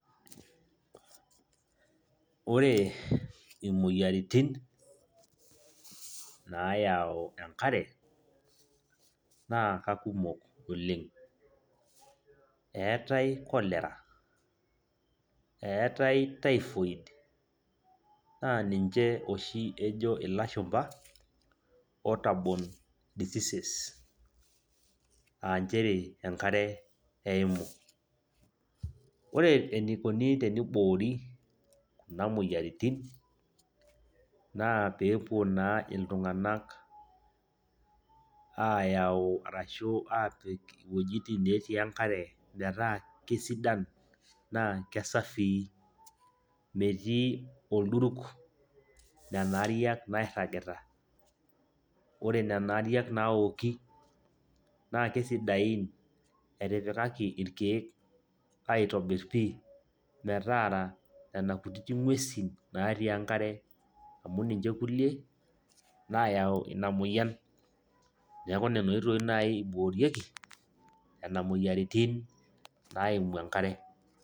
Ore imoyiaritin naayau enkare naa kakumok oleng'' eetai cholera eetai typhoid naa ninche oshi ejo ilashumba waterbone diseases aa nchere enkare eimu, ore enikoni teniboori kuna moyiaritin naa pee epuo naa iltung'anak aayau ashu aapiik iwuejitin neetii enkare metaa kesidan metaa kesafii metii olduruk nena aariak nairragita ore nena aariak naaoki naa kesidain etipikaki irkeek aitobirr pii metaara nena kutitik nguesin naatii enkare amu ninche kulie naayau ina moyian neeku nena oitoi naai iboorieki nena moyiaritin naimu enkare.